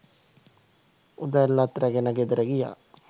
උදැල්ලත් රැගෙන ගෙදර ගියා.